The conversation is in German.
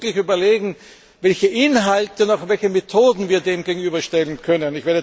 Wir müssen uns wirklich überlegen, welche Inhalte und welche Methoden wir dem gegenüberstellen können.